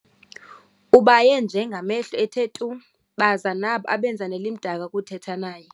Ubaye nje ngamehlo ethe tu, baza nabo abenza nelimdaka ukuthetha naye.